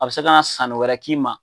A bɛ se ka na sanni wɛrɛ k'i ma.